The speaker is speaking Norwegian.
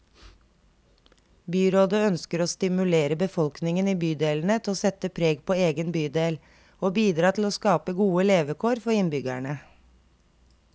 Byrådet ønsker å stimulere befolkningen i bydelene til å sette preg på egen bydel, og bidra til å skape gode levekår for innbyggerne.